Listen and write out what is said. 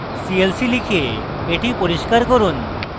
clc লিখে এটি পরিস্কার করুন